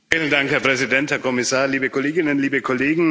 Herr Präsident, Herr Kommissar, liebe Kolleginnen, liebe Kollegen!